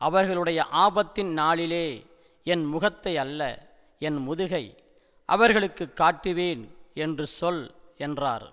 அவர்களுடைய ஆபத்தின் நாளிலே என் முகத்தையல்ல என் முதுகை அவர்களுக்கு காட்டுவேன் என்று சொல் என்றார்